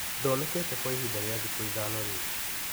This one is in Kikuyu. Ndonekete kwa ihinda rĩa thikũ ithano rĩu.